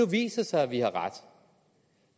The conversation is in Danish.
viser sig at vi har ret